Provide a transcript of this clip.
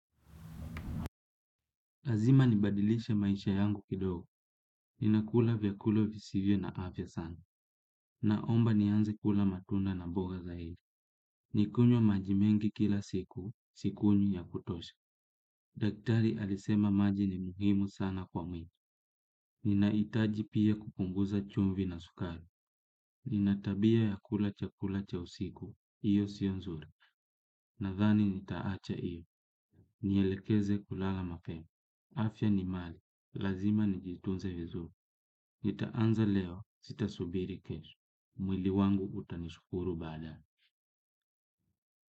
Lazima nibadilishe maisha yangu kidogo. Ninakula vyakulo visivyo na afya sana. Naomba nianze kula matunda na mboga zaidi. Nikunywe maji mengi kila siku, sikunywi ya kutosha. Daktari alisema maji ni muhimu sana kwa mwili. Ninahitaji pia kupunguza chumvi na sukari. Ninatabia ya kula chakula cha usiku. Iyo sionzuri. Nathani nitaacha iyo. Nielekeze kulala mapema. Afya ni mali. Lazima nijitunze vizu. Nitaanza leo, sitasubiri kesho. Mwili wangu utanishkuru baada.